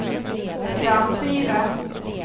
framsida